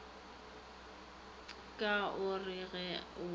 ka o re ge o